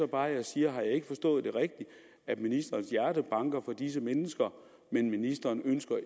bare jeg siger har jeg ikke forstået det rigtigt at ministerens hjerte banker for disse mennesker men at ministeren